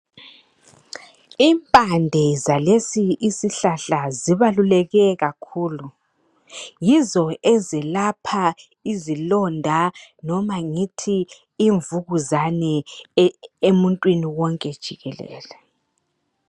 Impande zalesi isihlahla zibaluleke kakhulu yizo ezilapha izilonda emuntwini noma ngithi imvukuzane emuntwini wonke jikelele.